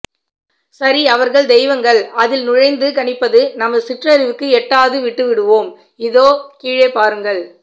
சரி அவர்கள் தெய்வங்கள் அதில் நுழைந்து கணிப்பது நமது சிற்றறிவுக்கு எட்டாது விட்டு விடுவோம் இதோ கீழே பாருங்கள்